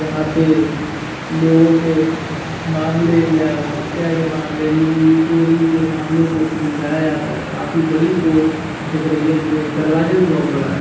यहां पे लोगों के मामले या हत्या के मामले लूट चोरी के मामलो को सुलझाया जाता है काफी बड़ी कोर्ट दिख रही है गे दरवाजे बहुत बड़ा है।